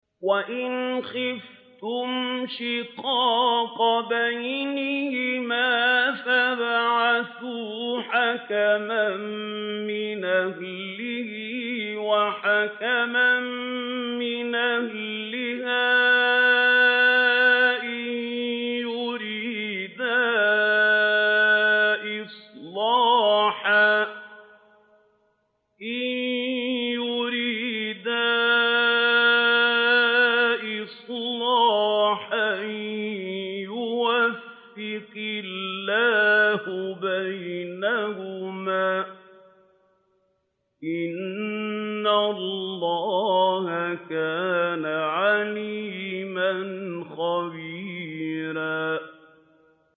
وَإِنْ خِفْتُمْ شِقَاقَ بَيْنِهِمَا فَابْعَثُوا حَكَمًا مِّنْ أَهْلِهِ وَحَكَمًا مِّنْ أَهْلِهَا إِن يُرِيدَا إِصْلَاحًا يُوَفِّقِ اللَّهُ بَيْنَهُمَا ۗ إِنَّ اللَّهَ كَانَ عَلِيمًا خَبِيرًا